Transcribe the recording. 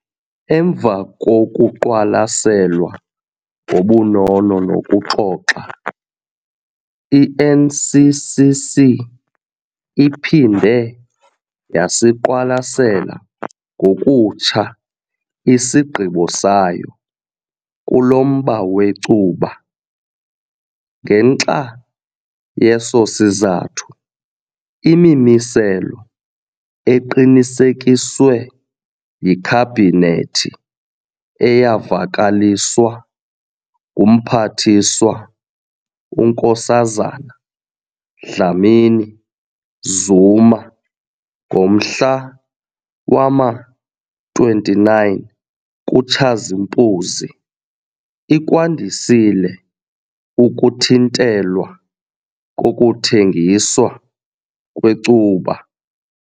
Emva kokuqwalaselwa ngobunono nokuxoxa, i-NCCC iphinde yasiqwalasela ngokutsha isigqibo sayo kulo mba wecuba. Ngenxa yeso sizathu, imimiselo eqinisekiswe yiKhabhinethi eyavakaliswa nguMphathiswa uNkosazana Dlamini-Zuma ngomhla wama-29 kuTshazimpuzi ikwandisile ukuthintelwa kokuthengiswa kwecuba.